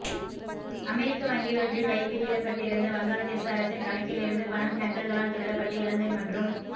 அமெரிக்க வங்கியொன்றில் வைப்பிலிடப்பட்டிருந்த வங்காளதேச அரசின் கணக்கிலிருந்து பணம் ஹேக்கர்களால் திருடப்பட்டு இலங்கை மற்றும்